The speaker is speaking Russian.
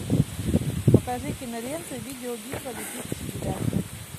покажи киноленту видеобитва две тысячи девятого